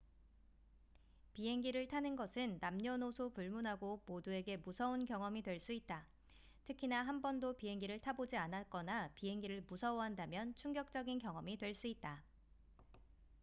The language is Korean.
비행기를 타는 것은 남녀노소 불문하고 모두에게 무서운 경험이 될 수 있다 특히나 한 번도 비행기를 타보지 않았거나 비행기를 무서워한다면 충격적인 경험이 될 수 있다